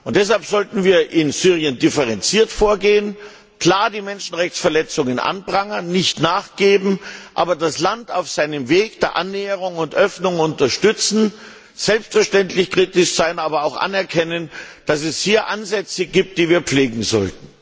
Deshalb sollten wir in Syrien differenziert vorgehen, die Menschenrechtsverletzungen klar anprangern, nicht nachgeben, das Land auf seinem Weg der Annäherung und Öffnung jedoch unterstützen, selbstverständlich kritisch sein, aber auch anerkennen, dass es hier Ansätze gibt, die wir pflegen sollten